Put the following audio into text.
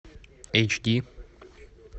эйч ди